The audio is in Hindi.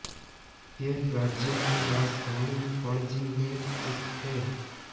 यह राज्य की राजधानी पणजी में स्थित है